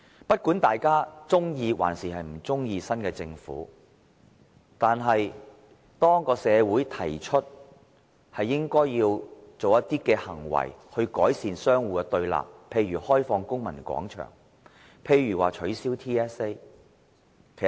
不管大家是否喜歡新一屆政府，社會還是提出應採取一些行動來改善互雙對立的局面，例如開放公民廣場、取消 TSA 等。